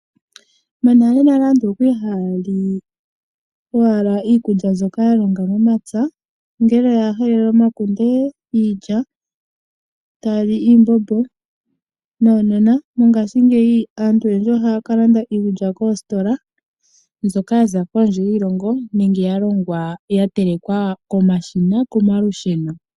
Monalenale aantu okwa li haya li owala iikulya mbyoka ya longa momapya ngele oya hala omakunde, iilya taya li iimbombo. Monena aantu oyendji ohaya ka landa iikulya koositola mbyoka yaza kondje yiilongo nenge ya longwa, ya telekwa komashina komalusheno.